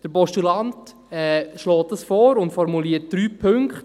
Der Postulant schlägt das vor und formuliert drei Punkte.